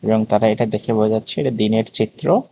এবং তারা এটা দেখে বোঝা যাচ্ছে যে এটা দিনের চিত্র।